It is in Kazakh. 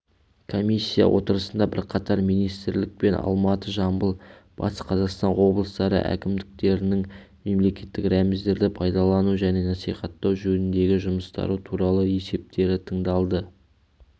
комиссия отырысында бірқатар министрлік пен алматы жамбыл батыс қазақстан облыстары әкімдіктерінің мемлекеттік рәміздерді пайдалану және насихаттау жөніндегі жұмыстары туралы есептері тыңдалды